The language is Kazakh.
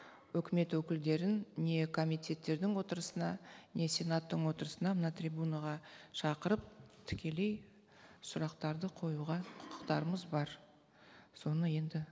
өкімет өкілдерін не комитеттердің отырысына не сенаттың отырысына мына трибунаға шақырып тікелей сұрақтарды қоюға құқықтарымыз бар соны енді